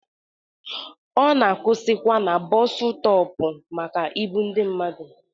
Ọ na-akwụsịkwa na bọọsu stọp maka ibu ndi mmadụ.